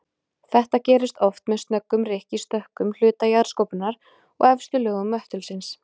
Þetta gerist oft með snöggum rykk í stökkum hluta jarðskorpunnar og efstu lögum möttulsins.